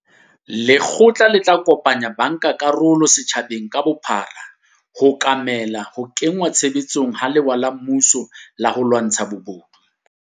Lekgotla le tla kopantsha bankakarolo setjhabeng ka bophara ho okomela ho kengwa tshebetsong ha lewa la mmuso la ho lwantsha bobodu.